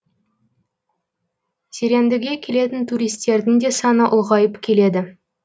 зерендіге келетін туристердің де саны ұлғайып келеді